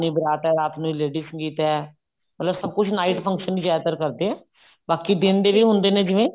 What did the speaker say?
ਇੰਨੀ ਬਾਰਾਤ ਹੈ ਰਾਤ ਨੂੰ lady ਸੰਗੀਤ ਹੈ ਮਤਲਬ ਸਭ ਕੁੱਝ night function ਜਿਆਦਾ ਕਰਦੇ ਨੇ ਬਾਕੀ ਦਿਨ ਦੇ ਵੀ ਹੁੰਦੇ ਨੇ ਜਿਵੇਂ